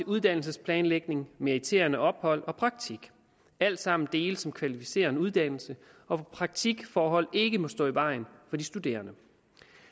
uddannelsesplanlægning meriterende ophold og praktik alt sammen dele som kvalificerer en uddannelse og hvor praktikforhold ikke må stå i vejen for de studerende